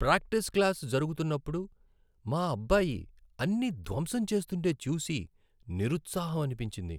Practice class జరుగుతున్నప్పుడు మా అబ్బాయి అన్నీ ధ్వంసం చేస్తుంటే చూసి నిరుత్సాహం అనిపించింది.